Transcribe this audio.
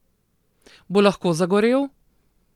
Bo lahko zagorel?